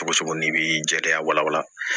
Cogo cogo n'i b'i jɛya wala